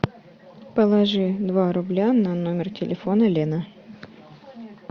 положи два рубля на номер телефона лена